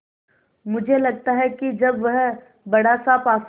मुझे लगता है कि जब वह बड़ासा पासा